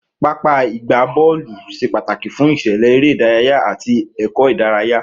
Pápá ìgbá bọọlu ṣé pàtàkì fún isele eré ìdárayá àti èkó idaraya